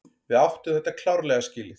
Við áttum þetta klárlega skilið.